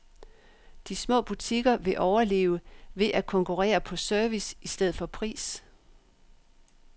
De små butikker vil overleve ved at konkurrere på service i stedet for pris.